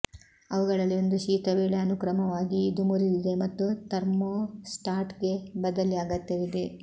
ಅವುಗಳಲ್ಲಿ ಒಂದು ಶೀತ ವೇಳೆ ಅನುಕ್ರಮವಾಗಿ ಇದು ಮುರಿದಿದೆ ಮತ್ತು ಥರ್ಮೋಸ್ಟಾಟ್ಗೆ ಬದಲಿ ಅಗತ್ಯವಿದೆ